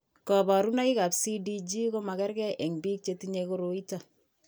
Kabarunoikab CDG ko magerge eng' biko che tinye koroi ito .